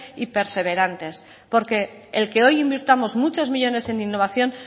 y perseverantes porque el que hoy invirtamos muchos millónes en innovación